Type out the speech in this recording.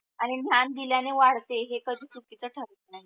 आणि ज्ञान दिल्याने वाडते हे कधी चुकीच ठरत नाही.